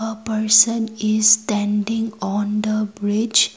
a person is standing on the bridge.